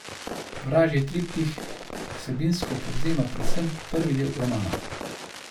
Vražji triptih vsebinsko povzema predvsem prvi del romana.